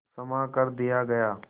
क्षमा कर दिया गया